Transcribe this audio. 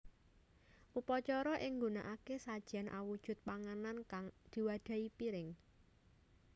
Upacara iki nggunakake sajen awujud panganan kang diwadhahi piring